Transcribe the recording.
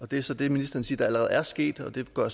det er så det ministeren siger allerede er sket og det går